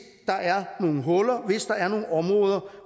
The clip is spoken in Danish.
der er nogle huller hvis der er nogle områder